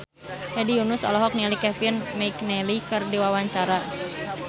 Hedi Yunus olohok ningali Kevin McNally keur diwawancara